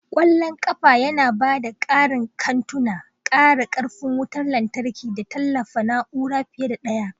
Ƙwallon ƙafa yana ba da ƙarin kantuna, ƙara ƙarfin wutar lantarki da tallafawa na'ura fiye da ɗaya.